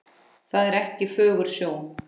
Það er ekki fögur sjón.